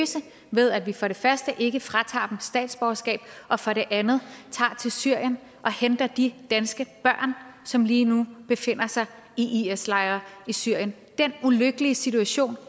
ved at vi for det første ikke fratager dem statsborgerskabet og for det andet tager til syrien og henter de danske børn som lige nu befinder sig i is lejre i syrien den ulykkelige situation